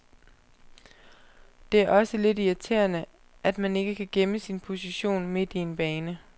Det er også lidt irriterende, at man ikke kan gemme sin position midt i en bane.